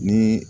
Ni